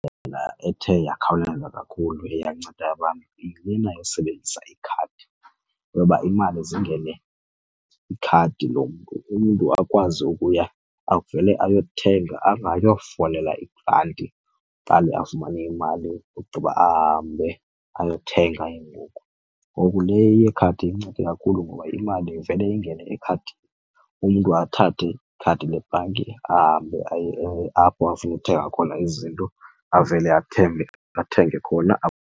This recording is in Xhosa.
Indlela ethe yakhawuleza kakhulu eyanceda abantu yilena yosebenzisa ikhadi yoba imali eze ingene kwikhadi lo mntu umntu akwazi ukuya avele ayothenga angayo folela ibhanki aqale afumane imali ogqiba ahambe ayothenga ke ngoku. Ngoku le eyekhadi incede kakhulu ngoba imali ivele ingene ekhadini umntu athathe ikhadi lebhanki ahambe aye apho afuna ukuthenga khona izinto avele athenge khona.